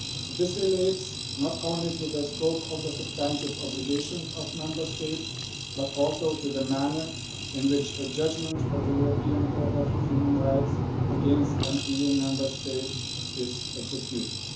This relates not only to the scope of the substantive obligations of Member States, but also to the manner in which a judgment of the European Court of Human Rights against an EU Member State is executed.